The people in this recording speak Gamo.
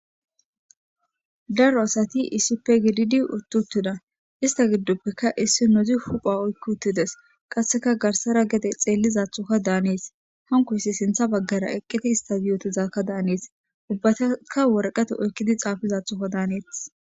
Daro assati issipe giddidi utidosona. Isita gidonikka issi assi huphiya oyiki otiddesi, qassi garisara gede xelidathoka dannesi hanikoyisi sinitha baggara eqidayisi danesi ubatikka wariqate oyikidathoka dannesi.